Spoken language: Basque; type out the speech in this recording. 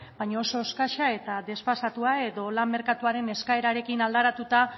baina oso eskasa eta desfasatua edo lan merkatuaren eskaerarekin aldaratuta